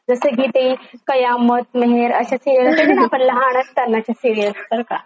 जस की ते कयामत मेहेर ते बघायचो न आपण लहान असतांनाच्या सीरिअल बरका.